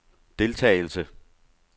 deltagelse